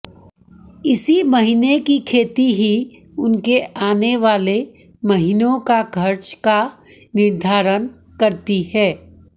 इसी महीने की खेती ही उनके आने वाले महीनों का खर्च का निर्धारण करती है